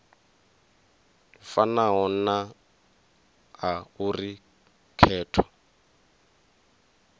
fanaho na a uri khetho